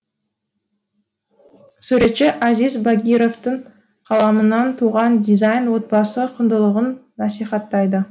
суретші азиз багировтың қаламынан туған дизайн отбасы құндылығын насихаттайды